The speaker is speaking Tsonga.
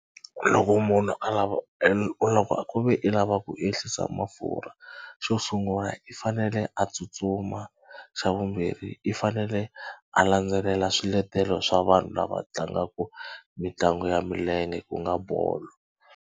Loko munhu a lava loko ku ve i lava ku ehlisa mafurha xo sungula i fanele a tsutsuma xa vumbirhi i fanele a landzelela swiletelo swa vanhu lava tlangaka mitlangu ya milenge ku nga bolo.